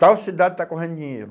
Tal cidade está correndo dinheiro.